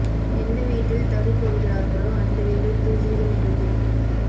எந்த வீட்டில் தறி போடுகிறார்களோ அந்த வீடு தூசிகள் நிறைந்திருக்கும்